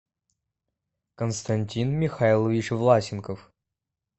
константин михайлович власенков